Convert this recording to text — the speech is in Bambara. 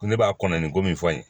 Ko ne b'a kɔnɔ nin ko min fɔ in